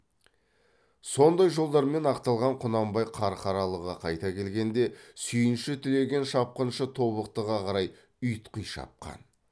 сондай жолдармен ақталған құнанбай қарқаралыға қайта келгенде сүйінші тілеген шапқыншы тобықтыға қарай ұйтқи шапқан